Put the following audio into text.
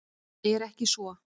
Er ekki svo?